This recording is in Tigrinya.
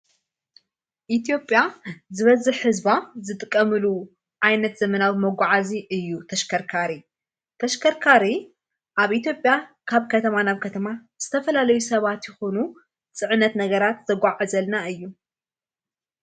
ኢትጴያ ዝበዝኅ ሕዝባ ዝጥቀምሉ ዓይነት ዘመናዊ መጕዓእዙ እዩ ተሽከርካሪ ተሽከርካር ኣብ ኢትብያ ካብ ከተማ ናብ ከተማ ዝተፈላለዩ ሰባት ይኾኑ ጽዕነት ነገራት ዘጕዓእኔ ዘልና እዩ::